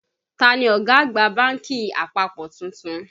Ta ni ọ̀gá àgbà bánkì àpapọ̀ tuntun?